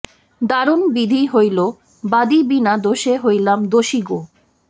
দারুণ বিধি হইল বাদী বিনা দোষে হইলাম দোষী গো